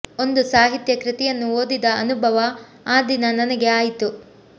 ಒಂದು ಸಾಹಿತ್ಯ ಕೃತಿಯನ್ನು ಓದಿದ ಅನುಭವ ಆ ದಿನ ನನಗೆ ಆಯಿತು